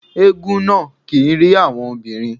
Éégún náà kì ń rí àwọn obìnrin.